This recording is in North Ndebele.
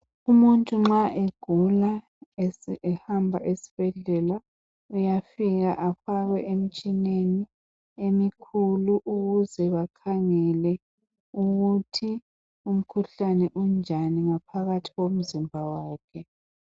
umuntu nxa egula esehamba esibhedlela uyafika efakwe emtshineni emikhulu ukuze bakhangele ukuthi umkhuhlane unjani ngaphakathi komzimba wakhe.